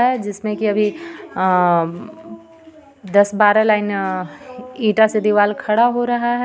जिसमे की अभी अम्म् दस बारा लाइन ईटा से दीवाल खड़ा हो रहा हे.